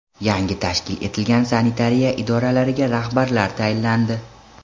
Yangi tashkil etilgan sanitariya idoralariga rahbarlar tayinlandi.